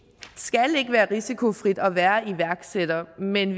skal ikke være risikofrit at være iværksætter men